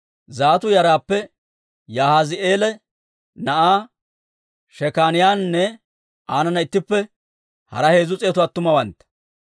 Zattu yaraappe Yahaazi'eela na'aa Shekaaniyaanne aanana ittippe hara heezzu s'eetu attumawantta,